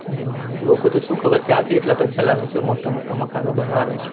હમ હમ લોકો તો સુ ખબર ક્યાંથી એટલા પૈસા લાવે છે મોટા મોટા મકાનો બનાવે છે.